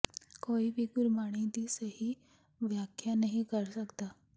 ਕੋਈ ਵੀ ਗੁਰਬਾਣੀ ਦੀ ਸਹੀ ਵਿਆਖਿਆ ਨਹੀਂ ਕਰ ਸਕਦਾ